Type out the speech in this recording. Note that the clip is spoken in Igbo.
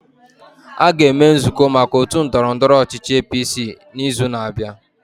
A ga-eme nzụkọ maka otu ndọrọndọrọ ọchịchị APC n'izu na-abịa.